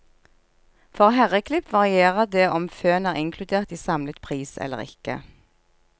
For herreklipp varierer det om føn er inkludert i samlet pris eller ikke.